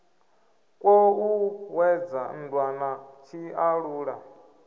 kwo ṱuṱuwedza nndwa na tshiṱalula